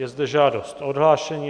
Je zde žádost o odhlášení.